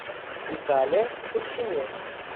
витале чурсине